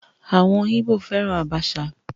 Àwọn Ìgbò fẹ́ran àbàṣà